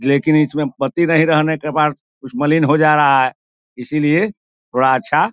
लेकिन इसमें परती नहीं रहने के बाद कुछ मलीन हो जा रहा है इसलिए थोड़ा अच्छा --